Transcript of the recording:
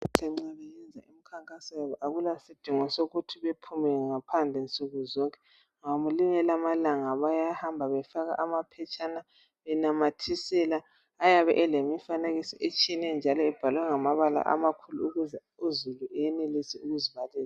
Abantu emkhankasweni akula sidingo sokuthi bephume ngaphandle nsuku zonke ngelinye lamalanga bayahamba befaka amaphetshana benamathisela ayabe elemifanekiso etshiyeneyo njalo ebhalwe ngamabala amakhulu ukuze uzulu enelise ukuzibalela.